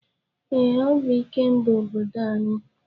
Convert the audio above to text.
Ee, ọ bụ Ikemba obodo anyị.